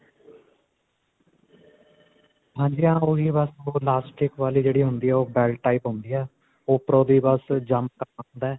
ਹਾਂਜੀ ਹਾਂ. ਉਹੀ ਬਸ ਓਹ elastic ਵਾਲੀ ਜਿਹੜੀ ਹੁੰਦੀ ਹੈ .ਓਹ belt type ਹੁੰਦੀ ਹੈ. ਉਪਰੋਂ ਦੀ ਬਸ jump ਕਰਨਾ ਹੁੰਦਾ ਹੈ.